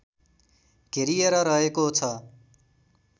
घेरिएर रहेको छ